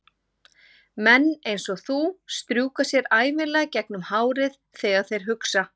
Menn einsog þú strjúka sér ævinlega gegnum hárið þegar þeir hugsa.